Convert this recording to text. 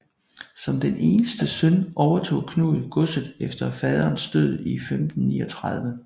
Som den eneste søn overtog Knud godset efter faderens død i 1539